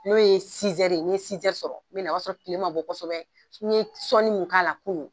N'o ye n ye sɔrɔ ,n be na o b'a sɔrɔ kile ma bɔ kosɛbɛ n ye sɔnni mun k'a la kunun